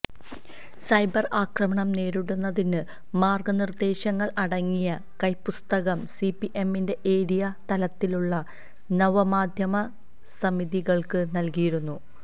cyber ആക്രമണം നേരിടുന്നതിന് മാര്ഗനിര്ദ്ദേശങ്ങള് അടങ്ങിയ കൈപുസ്തകം സിപിഎമ്മിന്റെ ഏരിയ തലത്തിലുള്ള നവമാധ്യമ സമിതികള്ക്ക് നല്കിയിരുന്നു